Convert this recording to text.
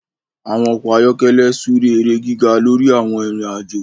àwọn ọkọ ayọkẹlẹ súré èrè gíga lórí àwon Ìrìn àjọ